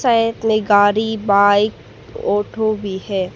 गाड़ी bike auto भी है।